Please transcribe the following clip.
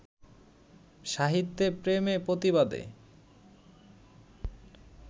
সাহিত্যে প্রেমে-প্রতিবাদে